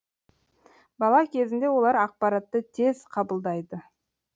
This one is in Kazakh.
бала кезінде олар ақпаратты тез қабылдайды